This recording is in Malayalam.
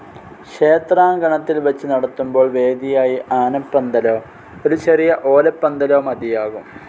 ക്ഷേത്രാങ്കണത്തിൽ വച്ച് നടത്തുമ്പോൾ വേദിയായി ആനപ്പന്തലോ ഒരു ചെറിയ ഓലപ്പന്തലോ മതിയാകും.